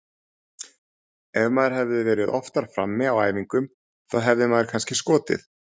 Ef maður hefði verið oftar frammi á æfingum þá hefði maður kannski skotið.